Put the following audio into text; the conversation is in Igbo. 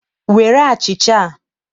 Were achịcha a.